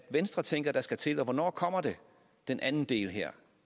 venstre tænker der skal til og hvornår kommer den anden del her